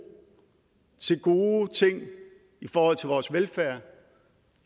til gode ting i forhold til vores velfærd